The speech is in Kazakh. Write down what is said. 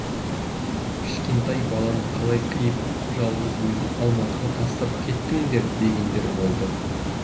кішкентай баланы қалай қиып жалғыз өзін алматыға тастап кеттіңдер дегендер болды